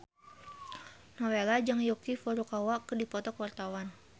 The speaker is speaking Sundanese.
Nowela jeung Yuki Furukawa keur dipoto ku wartawan